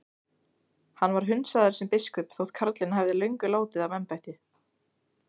Hann var hundsaður sem biskup þótt karlinn hefði löngu látið af embætti.